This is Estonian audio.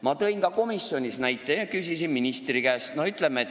Ma tõin ka komisjonis näite ja küsisin ministri käest.